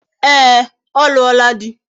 Ee, o luola di